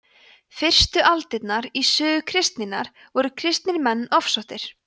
fyrstu aldirnar í sögu kristninnar voru kristnir menn ofsóttir